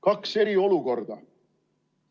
Kaks eri olukorda.